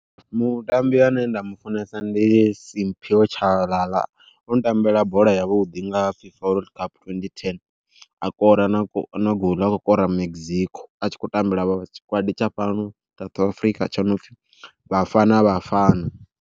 Mutambi ane nda mu funesa ndi Simphiwe Tshabalala u tambela bola yavhuḓi nga Fifa World Cup twenty ten, a kora na gouḽu a kho kora Mexico a tshi khou tambela tshikwadi tsha fhano South Afrika tsho nopfi Bafana Bafana.